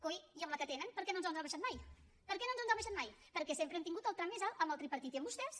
coi i amb la que tenen per què no ens els ha abaixat mai per què no ens els ha abaixat mai perquè sempre hem tingut el tram més alt amb el tripartit i amb vostès